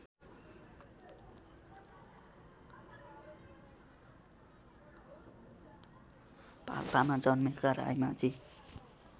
पाल्पामा जन्मेका रायमाझी